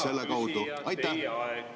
Hea küsija, teie aeg!